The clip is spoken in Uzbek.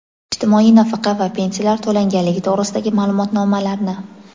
ijtimoiy nafaqa va pensiyalar to‘langanligi to‘g‘risidagi maʼlumotnomalarni.